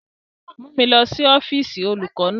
Mu mi lọ si ọfiisi olukọ naa!